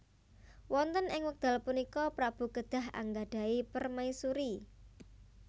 Wonten ing wekdal punika prabu kedah anggadhahi permaisuri